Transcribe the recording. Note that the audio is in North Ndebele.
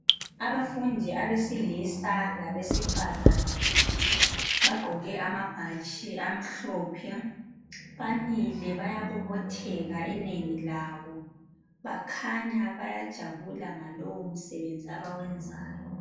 Abafundi abesilisa labesifazana bagqoke amabhatshi amhlophe, bamile bayabobotheka inengi labo bakhanya bayajabula ngalowo msebenzi abawenzayo.